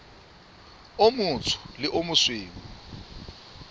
o motsho le o mosweu